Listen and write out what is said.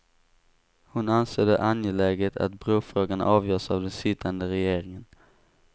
Hon ansåg det angeläget att brofrågan avgörs av den sittande regeringen.